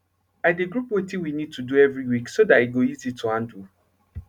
i de group wetin we need to do every week so dat e go easy to handle